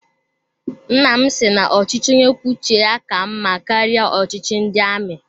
Nnam si na ochichi onye kwuo uche ya ka mma karịa ọchịchị ndị amị